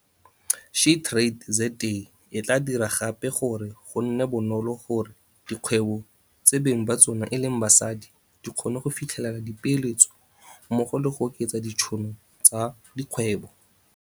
SheTradesZA e tla dira gape gore go nne bonolo gore dikgwebo tse beng ba tsona e leng basadi di kgone go fitlhelela dipeeletso mmogo le go oketsa ditšhono tsa dikgwebo.